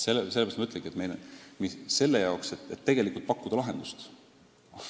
Seepärast ma ütlengi, et lahenduse pakkumiseks on vaja korralikke andmeid.